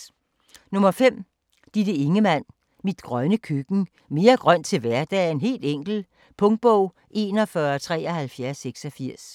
5. Ingemann, Ditte: Mit grønne køkken: mere grønt i hverdagen - helt enkelt Punktbog 417386